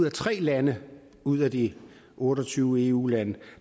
af tre lande ud af de otte og tyve eu lande